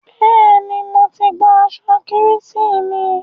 Bẹ́ẹ̀ni, mo ti gba aṣọ Kérésìmesì mi.